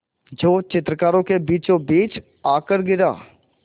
जो चित्रकारों के बीचोंबीच आकर गिरा